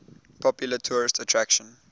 popular tourist attraction